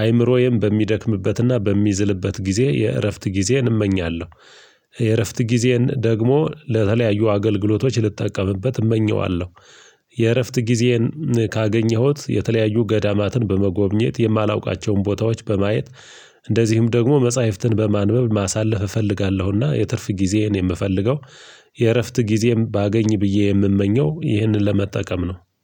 አይምሮዬም በሚደክምበትና በሚዝልበት ጊዜ የእረፍት ጊዜን እመኛለሁ። የእረፍት ጊዜን ደግሞ ለተለያዩ አገልግሎቶች ልጠቀምበት እመኘዋለሁ። የእረፍት ጊዜን ካገኘሁት የተለያዩ ገዳማትን በመጎብኘት የማላውቃቸውን ቦታዎች በማየት። እንደዚሁም ደግሞ መጽሐፍትን በማንበብ ማሳለፍ እፈልጋለሁና የትርፍ ጊዜህን የምፈልገው የእረፍት ጊዜም ባገኝ ብዬ የምመኘው ይህንን ለመጠቀም ነው